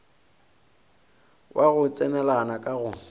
wa go tsenelana ka go